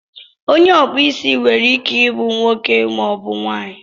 onye ọkpụ isi nwere ike ịbụ nwoke maọbụ nwaanyị